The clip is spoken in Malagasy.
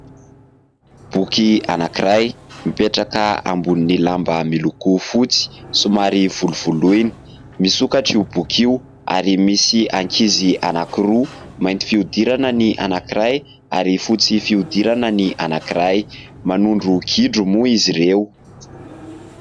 Boky anankiray mipetraka ambonin'ny lamba miloko fotsy somary volovoloina. Misokatra io boky io ary misy ankizy anankiroa : mainty fihodirana ny anankiray ary fotsy fihodirana ny anankiray, manondro gidro moa izy ireo.